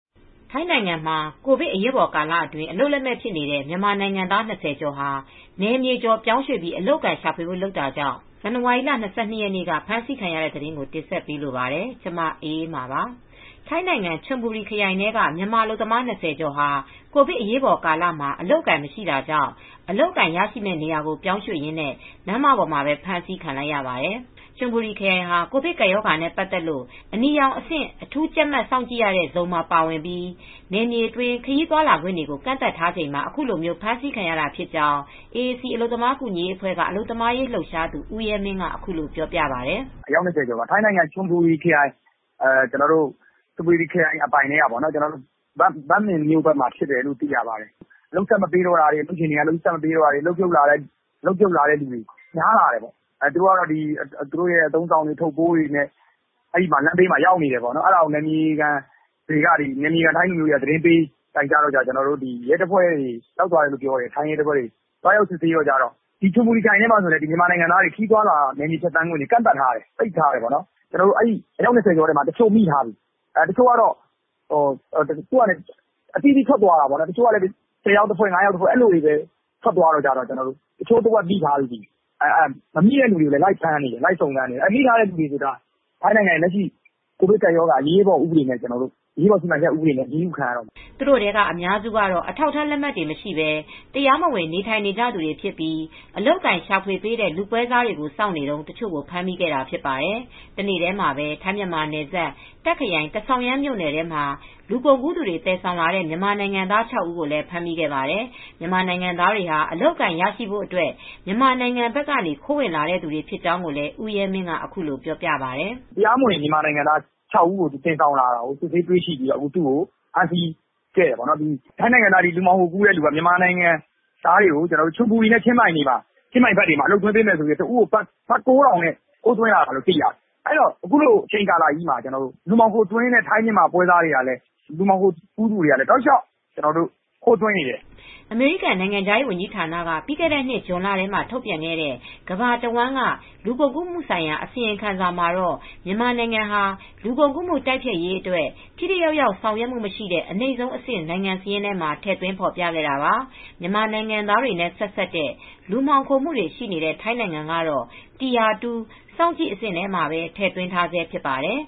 ထိုင်းနိုင်ငံ ကိုဗစ်အရေးပေါ်ကာလမှာ အလုပ်လက်မဲ့ဖြစ်နေတဲ့ မြန်မာနိုင်ငံသား ၂၀ ကျော်ဟာ နယ်မြေကျော်ပြောင်းရွှေ့ပြီး အလုပ်အကိုင်ရှာဖွေဖို့ လုပ်တာကြောင့် ဇန်နဝါရီ ၂၂ ရက်နေ့က ဖမ်းဆီးခံခဲ့ရပါတယ်။ အပြည့်အစုံကို ထိုင်းအခြေစိုက် ဗွီအိုအေမြန်မာပိုင်း သတင်းထောက် မအေးအေးမာ တင်ပြပေးထားပါတယ်။ ထိုင်းနိုင်ငံ ချွန်ဘူရီခရိုင်ထဲက မြန်မာအလုပ်သမား ၂၀ ကျော်ဟာ ကိုဗစ်အရေးပေါ်ကာလ အလုပ်အကိုင် မရှိတာကြောင့် အလုပ်ရရှိမယ့်နေရာကို ပြောင်းရွှေ့ရင်း လမ်းပေါ်မှာပဲ အဖမ်းဆီးခံလိုက်ရပါတယ်။ ချွန်ဘူရီခရိုင်ဟာ ကိုဗစ်ကပ်ရောဂါနဲ့ ပတ်သက်လို့ အနီရောင်အဆင့် အထူးကြပ်မတ် စောင့်ကြည့်နေရတဲ့ဇုန်မှာ ပါဝင်ပြီး နယ်မြေအတွင်း ခရီးသွားလာခွင့်တွေကို ကန့်သတ်ထားချိန်မှာ အခုလို ဖမ်းဆီးခံရတာဖြစ်ကြောင်း AAC အလုပ်သမားကူညီရေးအဖွဲ့က အလုပ်သမားရေး လှုပ်ရှားသူ ဦးရဲမင်းက အခုလိုပြောပါတယ်။ “အယောက် ၂၀ ကျော်ပါ၊ ထိုင်းနိုင်ငံ ချွန်ဘူရီခရိုင် အပိုင်ထဲက ဘန့်မင်မြို့ဘက်မှာဖြစ်တာ။ အလုပ်ရှင်တွေက အလုပ်ဆက်မပေးတာတွေ အလုပ်ဖြုတ်ခံရတဲ့သူတွေ များလာတယ်။ သူတို့က အသုံးအဆောင်တွေ အထုပ်အပိုးတွေနဲ့ ရောက်နေတယ်။ နယ်မြေခံ ထိုင်းလူမျိုးတွေက တိုင်ကြားလို့ ထိုင်းရဲတပ်ဖွဲ့တွေက ရောက်သွားတယ်။ သွားရောက်စစ်ဆေးတော့ အဲဒီ ချွန်ဘူရီမြို့ထဲမှာ မြန်မာနိုင်ငံသားတွေ ခရီးသွားလာခွင့်တွေ ကန့်သတ်ထားတယ်၊ ပိတ်ထားတယ်။ အယောက် ၂၀ ကျော်ထဲမှာ တချို့ မိထားပြီ။ တချို့ အသီးသီး ၅ ယောက်တဖွဲ့ ၁၀ ယောက်တဖွဲ့ ထွက်သွားတယ်။ အဲဒီလိုလူတွေကိုလည်း မိထားပြီ။ မမိသေးတဲ့သူတွေကိုလည်း လိုက်ဖမ်းနေတယ်။ မိထားတဲ့သူတွေကို ကိုဗစ် အရေးပေါ်စီမံချက် ဥပဒေနဲ့ အရေးယူခံရတော့မယ်။” သူတို့ထဲက အများစုကတော့ အထာက်အထား လက်မှတ်တွေမရှိဘဲ တရားမဝင် နေထိုင်နေကြသူတွေဖြစ်ပြီး အလုပ်အကိုင် ရှာဖွေပေးတဲ့ လူပွဲစားတွေကို စောင့်နေတုန်း တချို့ကို ဖမ်းမိခဲ့တာဖြစ်ပါတယ်။ တနေ့တည်းမှာပဲ ထိုင်း-မြန်မာနယ်စပ် တာ့ခ်ခရိုင် တန်ဆောင်ရမ်းမြို့နယ်ထဲမှာ လူကုန်ကူးသူတွေ သယ်ဆောင်လာတဲ့ မြန်မာနိုင်ငံသား ၆ ဦးကိုလည်း ဖမ်းမိခဲ့ပါတယ်။ မြန်မာနိုင်ငံသားတွေဟာ အလုပ်အကိုင် ရရှိဖို့အတွက် မြန်မာနိုင်ငံဘက်ကနေ ခိုးဝင်လာသူတွေ ဖြစ်တဲ့အကြောင်းကိုလည်း ဦးရဲမင်းက အခုလိုပြောပါတယ်။ “တရားမဝင် မြန်မာနိုင်ငံသား ၆ ဦးကို သယ်ဆောင်မှုနဲ့ သူ့ကို စစ်ဆေးပြီး သူ့ကို ဖမ်းဆီးခဲ့တယ်။ ထိုင်းနိုင်ငံသား လူမှောင်ခိုသမားက မြန်မာနိုင်ငံသားတွေကို ချွန်ဘူရီနဲ့ ချင်းမိုင်ခရိုင်တွေမှာ အလုပ်သွင်းပေးမယ်ဆိုပြီး တဦးကို ဘတ်ငွေ ၉,၀၀၀ နဲ့ ယူပြီး ခိုးသွင်းလာတာ။ အခုချိန်မှာ လူမှောင်ခိုသမားတွေကလည်း ဆက်တိုက်ခိုးသွင်းနေတယ်။” အမေရိကန် နိုင်ငံခြားရေး ဝန်ကြီးဌာနက ပြီးခဲ့တဲ့နှစ် ဇွန်လထဲမှာ ထုတ်ပြန်ခဲ့တဲ့ ကမ္ဘာတဝန်းက လူကုန်ကူးမှုဆိုင်ရာ အစီရင်ခံစာမှာတော့ မြန်မာနိုင်ငံဟာ လူကုန်ကူးမှု တိုက်ဖျက်ရေးအတွက် ထိထိရောက်ရောက် ဆောင်ရွက်မှုမရှိတဲ့ အနိမ့်ဆုံးအဆင့် နိုင်ငံစာရင်းမှာ ထည့်သွင်းဖော်ပြခဲ့တာပါ။ မြန်မာနိုင်ငံသားတွေနဲ့ ဆက်စပ်တဲ့ လူမှောင်ခိုမှုတွေ ရှိနေတဲ့ ထိုင်းနိုင်ငံကတော့ tire 2 စောင့်ကြည့်အဆင့်မှာ ထည့်သွင်းထားဆဲ ဖြစ်ပါတယ်